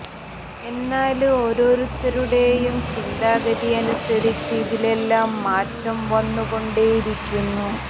എന്നാല് ഓരോരുത്തരുടേയും ചിന്താഗതി അനുസരിച്ച് ഇതിലെല്ലാം മാറ്റം വന്നു കൊണ്ടേ ഇരിക്കുന്നു